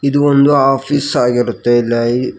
ಇದು ಒಂದು ಆಫೀಸ್ ಆಗಿರುತ್ತೆ ಇಲ್ಲಿ ಐ--